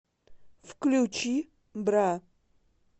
включи бра